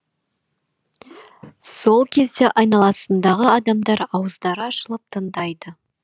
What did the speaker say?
сол кезде айналасындағы адамдар ауыздары ашылып тыңдайды